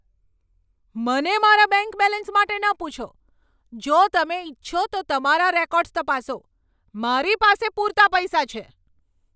મને મારા bank balance માટે ન પૂછો. જો તમે ઇચ્છો તો તમારા રેકોર્ડ્સ તપાસો. મારી પાસે પૂરતા પૈસા છે.